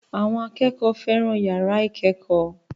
Àwọn akẹ́kọ̀ọ́ fẹ́ràn yàrá ìkẹ́kọ̀ọ́